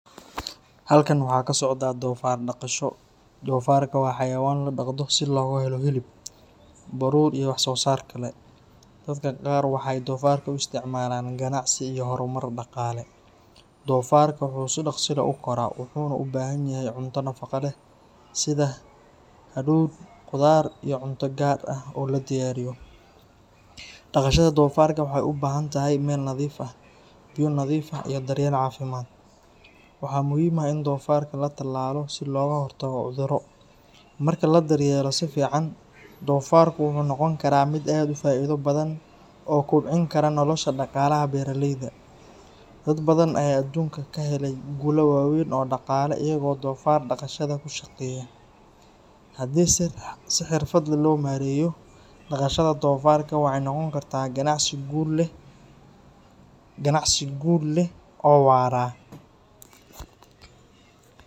Halkan waxaa ka socdaa doofaar dhaqasho. Doofaarka waa xayawaan la dhaqdo si looga helo hilib, baruur iyo wax-soo-saar kale. Dadka qaar waxay doofaarka u isticmaalaan ganacsi iyo horumar dhaqaale. Doofaarka wuu si dhakhso leh u koraa wuxuuna u baahan yahay cunto nafaqo leh sida hadhuudh, khudaar iyo cunto gaar ah oo la diyaariyo. Dhaqashada doofaarka waxay u baahan tahay meel nadiif ah, biyo nadiif ah iyo daryeel caafimaad. Waxaa muhiim ah in doofaarka la tallaalo si looga hortago cudurro. Marka la daryeelo si fiican, doofaarku wuxuu noqon karaa mid aad u faa'iido badan oo kobcin kara nolosha dhaqaalaha beeraleyda. Dad badan ayaa adduunka ka helay guulo waaweyn oo dhaqaale iyagoo doofaar dhaqashada ku shaqeeya. Haddii si xirfad leh loo maareeyo, dhaqashada doofaarka waxay noqon kartaa ganacsi guul leh oo waara.